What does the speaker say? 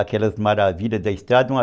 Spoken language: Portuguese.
Aquelas maravilhas da estrada. Uma